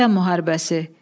Vətən müharibəsi.